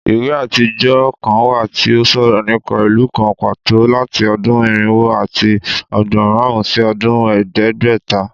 Iwe atijọ kan wa ti o sọrọ nipa ilu kan pato lati ọdun irinwo ati ọgbọn marun si ọdun ẹdẹgbẹta